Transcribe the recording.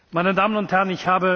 Meine Damen und Herren!